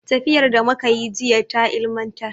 Tafiyar da muka yi jiya ta ilimantar.